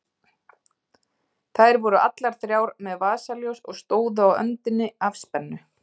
Þær voru allar þrjár með vasaljós og stóðu á öndinni af spennu.